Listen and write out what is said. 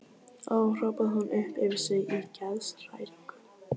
Ó, hrópaði hún upp yfir sig í geðshræringu.